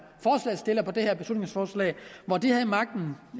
forslagsstillere på det her beslutningsforslag havde magten